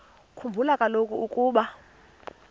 khumbula kaloku ukuba